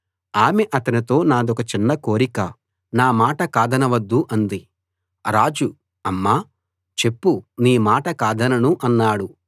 ఆమె అతనితో నాదొక చిన్న కోరిక నా మాట కాదనవద్దు అంది రాజు అమ్మా చెప్పు నీ మాట కాదనను అన్నాడు